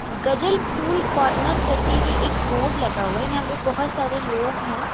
गजल cool corner करके ये एक बोर्ड लगा हुआ है यहां पे बहुत सारे लोग हैं।